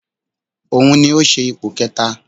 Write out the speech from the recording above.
Òun ni ó ṣe ipò kẹta